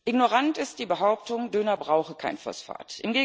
Ignorant ist die Behauptung, Döner brauche kein Phosphat.